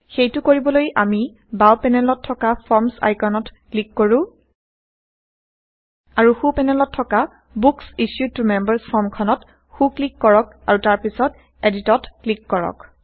সেইটো কৰিবলৈ আমি বাও পেনেলত থকা ফৰ্মচ আইকনত ক্লিক কৰো আৰু সো পেনেলত থকা বুক্স ইছ্যুড ত মেম্বাৰ্ছ ফৰ্মখনত সো ক্লিক160কৰক আৰু তাৰ পাছত এদিটত ক্লিক কৰক